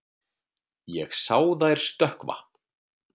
Ég sá þær stökkva.